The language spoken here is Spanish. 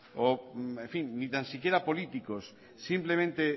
o en fin ni tan siquiera políticos simplemente